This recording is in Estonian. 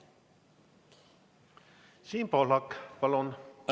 Siim Pohlak, palun!